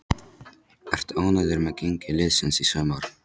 Ertu ánægður með gengi liðsins í sumar?